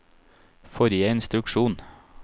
forrige instruksjon